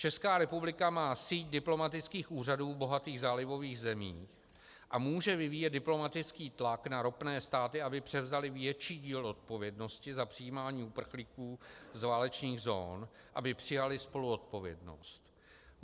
Česká republika má síť diplomatických úřadů v bohatých zálivových zemích a může vyvíjet diplomatický tlak na ropné státy, aby převzaly větší díl odpovědnosti za přijímání uprchlíků z válečných zón, aby přijaly spoluodpovědnost.